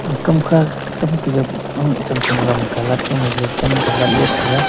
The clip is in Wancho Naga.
ekam kha cham cham gam colat pan colat lat tai ga.